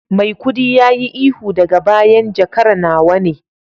maikudi yayi ihu daga bayan jakar nawa ne